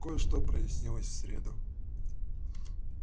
кое-что прояснилось в среду